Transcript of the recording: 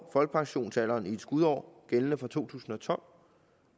folkepensionsalderen i et skudår gældende fra to tusind og tolv